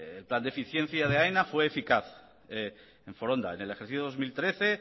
el plan de eficiencia de aena fue eficaz en foronda en el ejercicio dos mil trece